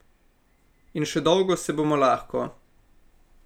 In še dolgo se bomo lahko.